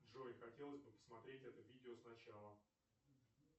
джой хотелось бы посмотреть это видео с начала